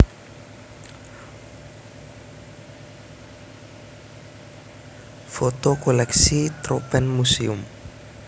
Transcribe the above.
Foto koleksi Troopenmuseum